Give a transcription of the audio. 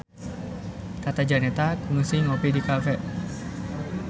Tata Janeta kungsi ngopi di cafe